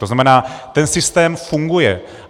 To znamená, ten systém funguje.